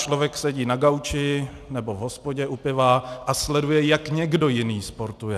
Člověk sedí na gauči nebo v hospodě u piva a sleduje, jak někdo jiný sportuje.